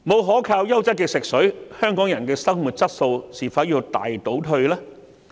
沒有優質可靠的食水，香港人的生活質素會否大倒退？